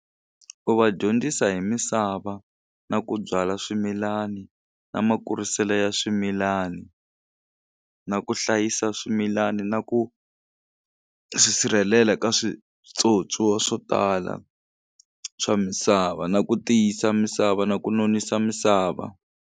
U va dyondzisa hi misava na ku byala swimilani na makuriselo ya swimilani na ku hlayisa swimilani na ku swisirhelela ka switswotswowa swo tala swa misava na ku tiyisa misava na ku nonisa misava.